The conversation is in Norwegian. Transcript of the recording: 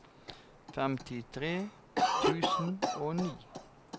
femtitre tusen og ni